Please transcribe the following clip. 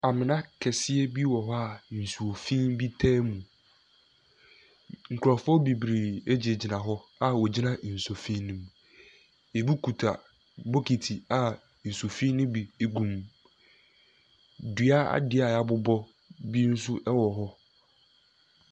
Amena kɛseɛ bi wɔ hɔ a nsuo fi bi taa mu. Nkurɔfoɔ bebree gyinagyina hɔ a wogyina nsuo fi no mu. Ebi kuta bokiti a nsu fi no bi gum. Dua adeɛ a wɔabobɔ bi nso wɔ hɔ.